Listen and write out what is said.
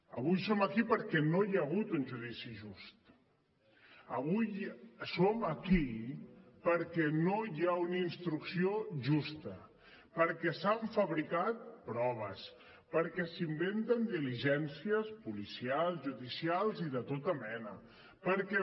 avui som aquí perquè no hi ha hagut un judici just avui som aquí perquè no hi ha una instrucció justa perquè s’han fabricat proves perquè s’inventen diligències policials judicials i de tota mena perquè